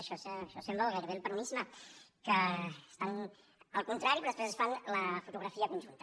això sembla gairebé el peronisme que estan pel contrari però després es fan la fotografia conjunta